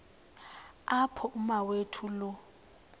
apho umawethu lo